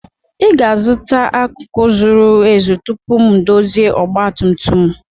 Ị ga-azụta akụkụ zuru ezu tupu m ndozie ọgba tum tum